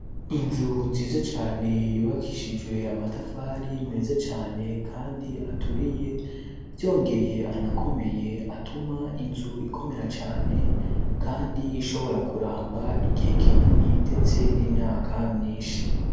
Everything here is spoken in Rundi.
inzu nziza cane yubakishijwe amatafari meza cane kandi aturiye vyongeye anakomeye atuma inzu ikomera cane kandi ishobora kuramba igihe kinini ndetse n'imyaka myishi.